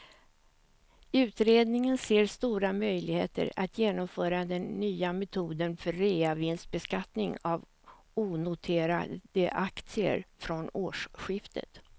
Utredningen ser stora möjligheter att genomföra den nya metoden för reavinstbeskattning av onoterade aktier från årsskiftet.